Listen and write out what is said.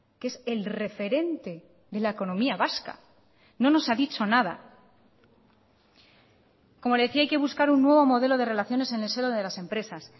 que es el referente de la economía vasca no nos ha dicho nada como le decía hay que buscar un nuevo modelo de relaciones en el seno de las empresas